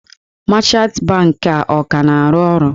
Mechantị bankị a ọ ka na-arụ ọrụ?